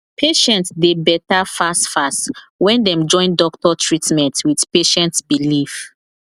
patient dey better fastfast when dem join doctor treatment with patient belief